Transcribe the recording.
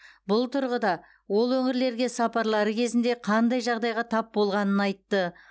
бұл тұрғыда ол өңірлерге сапарлары кезінде қандай жағдайға тап болғанын айтты